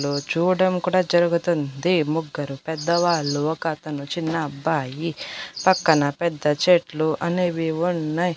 లు చూడం కూడా జరుగుతుంది. ముగ్గురు పెద్ద వాళ్ళు ఒక అతను చిన్న అబ్బాయి పక్కన పెద్ద చెట్లు అనేవి ఉన్నాయ్.